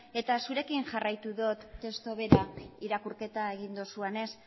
zurekin jarraitu dut testu bera irakurketa egin duzuenez